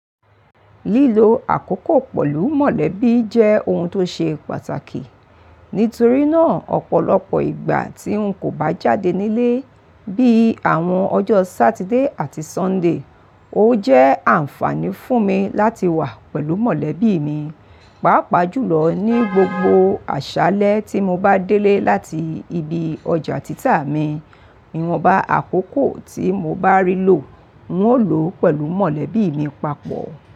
Lílo àkókò pẹ̀lú mọ̀lẹ́bí jẹ́ ohun tó ṣe pàtàkì. Nítorí náà, ọ̀pọ̀lọpọ̀ ìgbà tí ń kò bá jáde nílé, bí i àwọn ọjọ́ Satide àti Sunday, ó jẹ́ àǹfààní fún mi láti wà pẹ̀lú mọ̀lẹ́bí mi. Pàápàá jùlọ ní gbogbo àṣálẹ́ tí mo bá délé láti ibi ọjà títà mi, ìwọ̀nba àkókò tí mo bá rí lò, ń o lọ pẹ̀lú mọ̀lẹ́bí mi papọ̀.